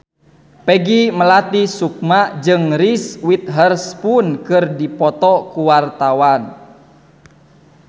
Peggy Melati Sukma jeung Reese Witherspoon keur dipoto ku wartawan